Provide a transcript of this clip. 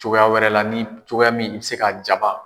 Cogoya wɛrɛ la ni cogoya min i bɛ se ka jaba